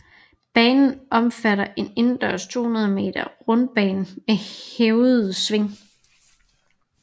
Banen omfatter en indendørs 200 meter rundbane med hævede sving